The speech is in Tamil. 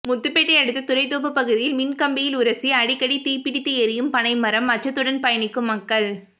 முத்துப்பேட்டை அடுத்த துறைத்தோப்பு பகுதியில் மின் கம்பியில் உரசி அடிக்கடி தீப்பிடித்து எரியும் பனைமரம் அச்சத்துடன் பயணிக்கும் மக்கள்